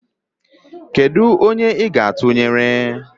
kedụ onye ị ga-atụnyere?